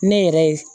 Ne yɛrɛ ye